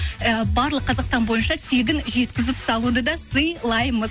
і барлық қазақстан бойынша тегін жеткізіп салуды да сыйлаймыз